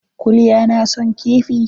Kulya na son kifi?